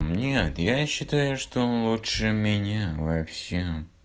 нет я считаю что лучше меня вообще